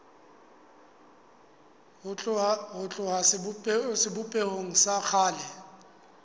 ho tloha sebopehong sa kgale